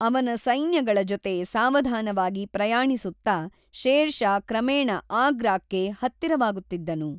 ಅವನ ಸೈನ್ಯಗಳ ಜೊತೆ ಸಾವಧಾನವಾಗಿ ಪ್ರಯಾಣಿಸುತ್ತಾ, ಶೇರ್ ಷಾ ಕ್ರಮೇಣ ಆಗ್ರಾಕ್ಕೆ ಹತ್ತಿರವಾಗುತ್ತಿದ್ದನು.